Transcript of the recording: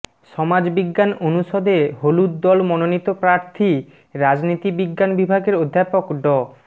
সমাজবিজ্ঞান অনুষদে হলুদ দল মনোনীত প্রার্থী রাজনীতি বিজ্ঞান বিভাগের অধ্যাপক ড